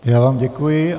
Já vám děkuji.